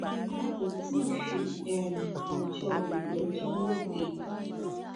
wọn kò tí ì fi um ọjọ ìgbẹjọ lédè